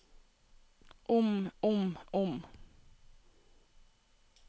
om om om